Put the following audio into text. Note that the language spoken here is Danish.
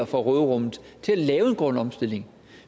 fra råderummet til at lave en grøn omstilling